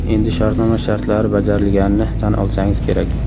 Endi shartnoma shartlari bajarilganini tan olsangiz kerak.